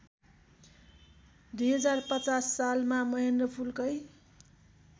२०५० सालमा महेन्द्रपुलकै